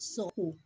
Sako